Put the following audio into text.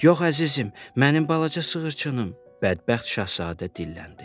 Yox, əzizim, mənim balaca sığırçınım, bədbəxt Şahzadə dilləndi.